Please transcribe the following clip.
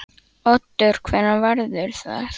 Oddur: Hvenær verður það?